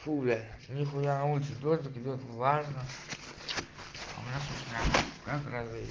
фу бля нихуя на улице дождик идёт ну ладно а у меня сушняк как раз зае